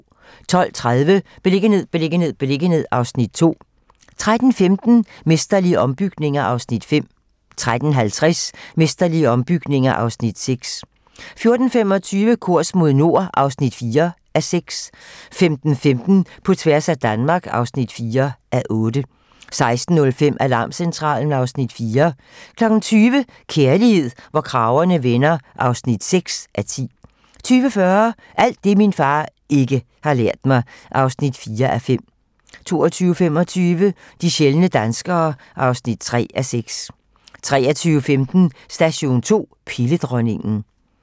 12:30: Beliggenhed, beliggenhed, beliggenhed (Afs. 2) 13:15: Mesterlige ombygninger (Afs. 5) 13:50: Mesterlige ombygninger (Afs. 6) 14:25: Kurs mod nord (4:6) 15:15: På tværs af Danmark (4:8) 16:05: Alarmcentralen (Afs. 4) 20:00: Kærlighed, hvor kragerne vender (6:10) 20:40: Alt det, min far ikke har lært mig (4:5) 22:25: De sjældne danskere (3:6) 23:15: Station 2: Pilledronningen